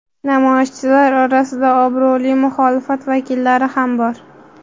Namoyishchilar orasida obro‘li muxolifat vakillari ham bor.